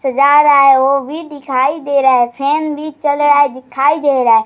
सजा रहा है वो भी दिखाई दे रहा है फैन भी चल रहा है दिखाई दे रहा है |